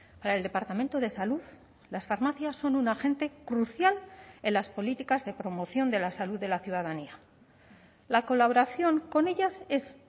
para el departamento de salud las farmacias son un agente crucial en las políticas de promoción de la salud de la ciudadanía la colaboración con ellas es